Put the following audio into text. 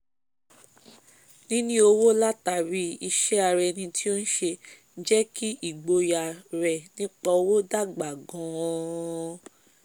níní owó látàrí iṣé ara eni tí o n se jẹ́ kí igboyà rẹ̀ nípa owó dàgbà gan-an